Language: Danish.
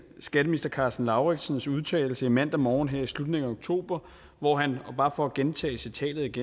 skatteminister karsten lauritzens udtalelse i mandag morgen her i slutningen af oktober hvor han bare for at gentage citatet